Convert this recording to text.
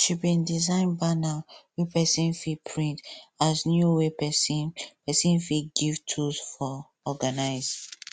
she bin design banner wey person fit print as new way person person fit give tools for organize